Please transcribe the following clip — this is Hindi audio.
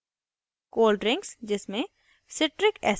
* दाँतों के बीच खाना अटक जाना